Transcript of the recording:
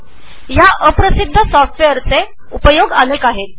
असे या अल्पप्रसिध्द सॉफ्टवेअरचे अनेक उपयोग आहेत